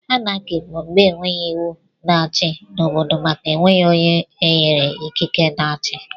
Anarchi bụ mgbe enweghị iwu na-achi n'obodo màkà enweghi ónyé enyere ikike na-achi.